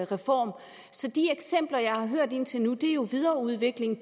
reform så de eksempler jeg har hørt indtil nu er jo videreudvikling